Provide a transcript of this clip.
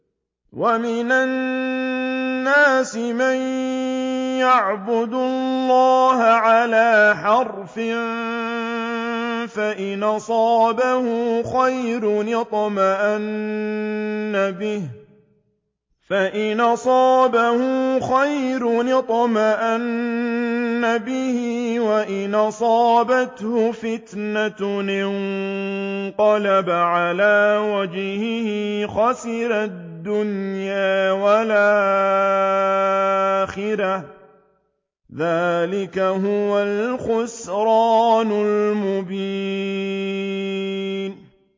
وَمِنَ النَّاسِ مَن يَعْبُدُ اللَّهَ عَلَىٰ حَرْفٍ ۖ فَإِنْ أَصَابَهُ خَيْرٌ اطْمَأَنَّ بِهِ ۖ وَإِنْ أَصَابَتْهُ فِتْنَةٌ انقَلَبَ عَلَىٰ وَجْهِهِ خَسِرَ الدُّنْيَا وَالْآخِرَةَ ۚ ذَٰلِكَ هُوَ الْخُسْرَانُ الْمُبِينُ